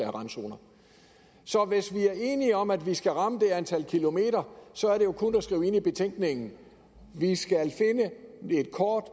randzoner så hvis vi er enige om at vi skal ramme det antal kilometer så er det jo kun at skrive det ind i betænkningen vi skal finde et kort